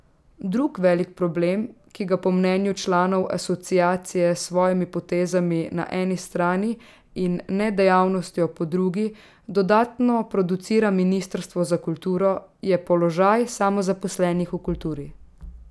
Drug velik problem, ki ga po mnenju članov Asociacije s svojimi potezami na eni strani in nedejavnostjo po drugi dodatno producira ministrstvo za kulturo, je položaj samozaposlenih v kulturi.